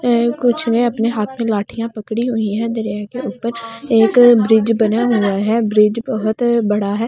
कुछ ने अपने हाथ में लाठियां पकड़ी हुई है दरिया के ऊपर एक ब्रिज बना हुआ है ब्रिज बहुत बड़ा है।